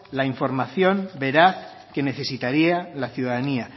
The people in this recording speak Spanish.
la información veraz que necesitaría la ciudadanía